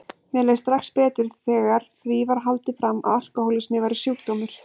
Mér leið strax betur þegar því var haldið fram að alkohólismi væri sjúkdómur.